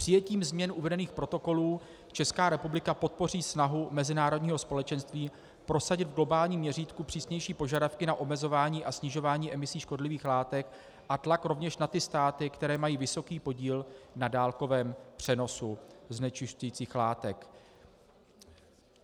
Přijetím změn uvedených protokolů Česká republika podpoří snahu mezinárodního společenství prosadit v globálním měřítku přísnější požadavky na omezování a snižování emisí škodlivých látek a tlak rovněž na ty státy, které mají vysoký podíl na dálkovém přenosu znečišťujících látek.